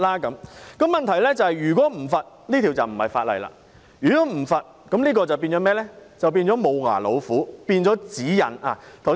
但是，問題是如果沒有罰則，這便不是一項法例，會變成"無牙老虎"，變成指引。